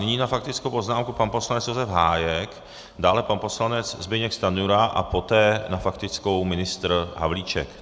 Nyní na faktickou poznámku pan poslanec Josef Hájek, dále pan poslanec Zbyněk Stanjura a poté na faktickou ministr Havlíček.